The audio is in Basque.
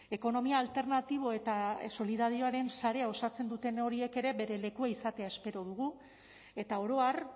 ekonomia alternatibo eta solidarioaren sarea osatzen duten horiek ere bere lekua izatea espero dugu eta orohar